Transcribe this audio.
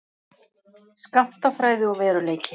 Skammtafræði og veruleiki.